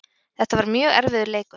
Þetta var mjög erfiður leikur